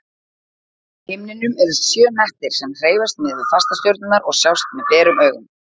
Á himninum eru sjö hnettir sem hreyfast miðað við fastastjörnurnar og sjást með berum augum.